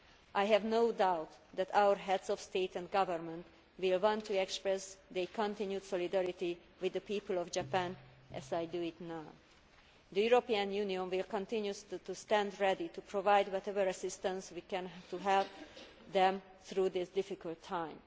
I have no doubt that our Heads of State and Government will want to express their continued solidarity with the people of Japan as I do now. The European Union will continue to stand ready to provide whatever assistance we can to help them through this difficult